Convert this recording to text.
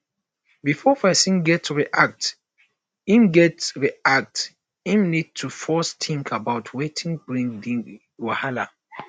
before person go react im go react im need to first think about wetin bring di wahala